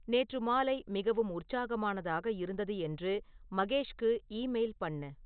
நேற்று மாலை மிகவும் உற்சாகமானதாக இருந்தது என்று மகேஷ்க்கு ஈமெயில் பண்ணு